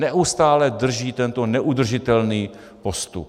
Neustále drží tento neudržitelný postup.